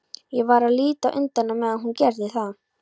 Ég varð að líta undan á meðan hún gerði það.